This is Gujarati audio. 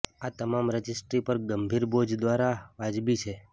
આ તમામ રજિસ્ટ્રી પર ગંભીર બોજ દ્વારા વાજબી છે